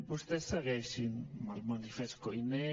vostès segueixin amb el manifest koiné